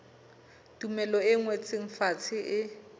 tumello e ngotsweng fatshe e